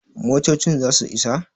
motocin za su Isa?